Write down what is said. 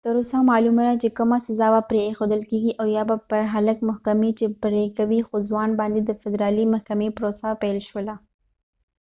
تر اوسه معلومه ده چې کومه سزا به پرې ایښودل کېږي او یا به پر هلک محکمې څه پرېکړه کوي خو ځوان باندې د فدرالي محکمې پروسه پیل شوله